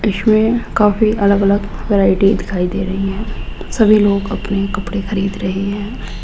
इसमें काफी अलग अलग वैरायटी दिखाई दे रही हैं सभी लोग अपने कपड़े खरीद रहे हैं।